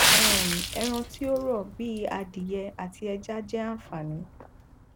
um ẹran tí ó rọ bíi adìẹ àti ẹja jẹ àfààní